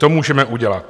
To můžeme udělat.